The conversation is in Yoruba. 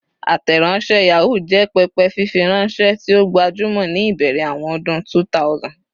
Ateronse Yahoo jẹ pẹpẹ fifiranṣẹ ti o gbajumọ ni ibẹrẹ awọn ọdun 2000.